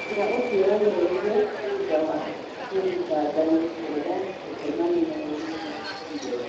Cira ũcio ũreheririo thuta wa mũthitangani kũrega gũtemania wĩira igotinĩ